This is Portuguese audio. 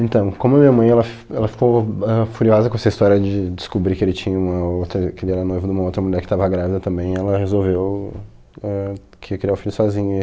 Então, como a minha mãe, ela f ela ficou ãh furiosa com essa história de descobrir que ele tinha uma outra, que ele era noivo de uma outra mulher que estava grávida também, ela resolveu ãh que ia criar o filho sozinha.